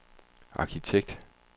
arkitekt